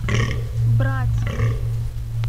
братск